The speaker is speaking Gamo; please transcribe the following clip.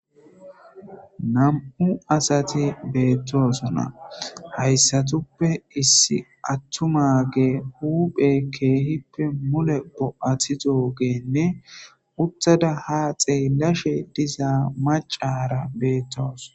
nam7u asati beettosona hayssatuppe issi attumage huuphe keehippe mule bo7athidogeenne uttada ha xeelashe dizaa macara beettoos